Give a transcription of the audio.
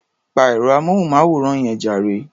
Pa ẹ̀rọ-amóhùnmáwòrán yẹn jàre.